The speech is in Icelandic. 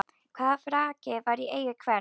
Hvaða frakki var í eigu hvers?